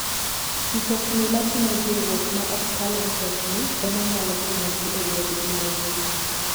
Mtokni mating'o jowuoth ma ok kal mtokni ema nyalo konyogi e wuodhgi mogik.